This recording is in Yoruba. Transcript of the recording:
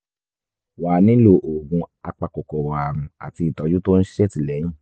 wàá nílò oògùn apakòkòrò ààrùn àti ìtọ́jú tó ń ṣètìlẹ́yìn